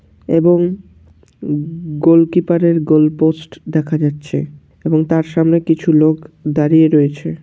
এবং গো-ওলকিপারের গোলপোস্ট দেখা যাচ্ছে এবং তার সামনে কিছু লোক দাঁড়িয়ে রয়েছে।